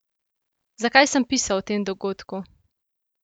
Zakaj sem pisal o tem dogodku?